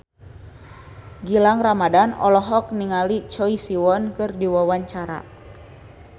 Gilang Ramadan olohok ningali Choi Siwon keur diwawancara